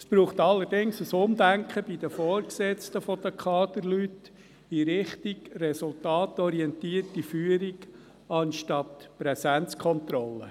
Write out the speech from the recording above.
Es braucht allerdings ein Umdenken bei den Vorgesetzten der Kaderleute in Richtung resultatorientierter Führung anstelle von Präsenzkontrolle.